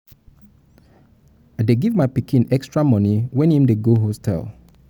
i dey give my pikin extra moni wen im dey go im hostel.